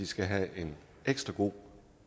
skal have en ekstra god